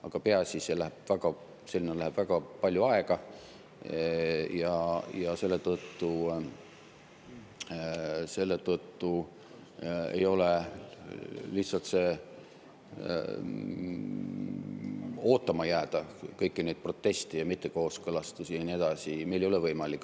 Aga peaasi, läheb väga palju aega ja meil ei ole võimalik lihtsalt ootama jääda, kõiki neid proteste ja mittekooskõlastusi ja nii edasi.